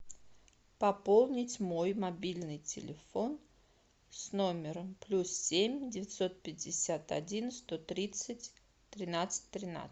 пополнить мой мобильный телефон с номером плюс семь девятьсот пятьдесят один сто тридцать тринадцать тринадцать